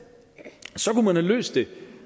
så for man have løst det